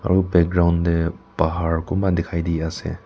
tu background tey bahar kunba dikhai de ase.